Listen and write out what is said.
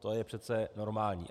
To je přeci normální.